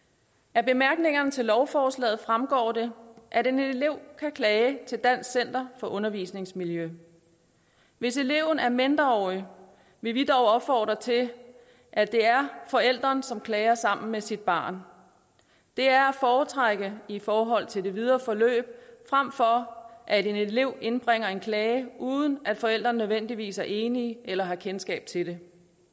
af bemærkningerne til lovforslaget fremgår det at en elev kan klage til dansk center for undervisningsmiljø hvis eleven er mindreårig vil vi dog opfordre til at det er forælderen som klager sammen med sit barn det er at foretrække i forhold til det videre forløb frem for at en elev indbringer en klage uden at forælderen nødvendigvis er enig eller har kendskab til det